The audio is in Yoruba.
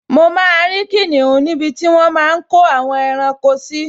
Mo máa rí kìnìún níbi tí wọ́n máa n kó àwọn ẹranko sí